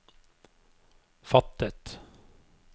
fattet